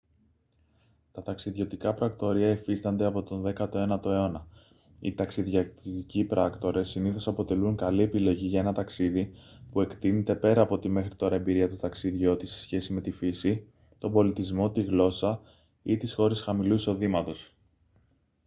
τα ταξιδιωτικά πρακτορεία υφίστανται από τον 19ο αιώνα οι ταξιδιωτικοί πράκτορες συνήθως αποτελούν καλή επιλογή για ένα ταξίδι που εκτείνεται πέρα από τη μέχρι τώρα εμπειρία του ταξιδιώτη σε σχέση με τη φύση τον πολιτισμό τη γλώσσα ή τις χώρες χαμηλού εισοδήματος